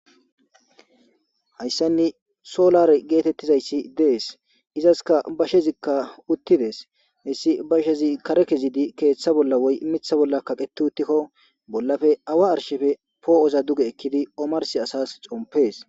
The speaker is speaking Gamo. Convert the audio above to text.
hayssanni solare geetettizayssi dees izaska bashezikka uttides hessi bashezi kare kezidi keeththa bolla woy mitha bolla kaqeti uttikko bollafe awa arshefe poo7oza duge ekkidi omarsi asas compees